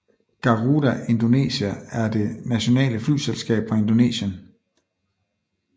Garuda Indonesia er det nationale flyselskab fra Indonesien